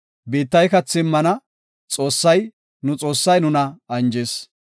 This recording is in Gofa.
Biittay kathi immana; Xoossay, nu Xoossay nuna anjis.